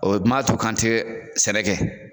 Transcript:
O ma to k'an tɛ sɛnɛ kɛ